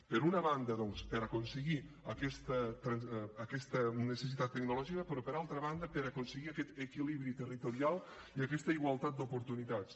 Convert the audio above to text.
per una banda doncs per aconseguir aquesta necessitat tecnològica però per altra banda per aconseguir aquest equilibri territorial i aquesta igualtat d’oportunitats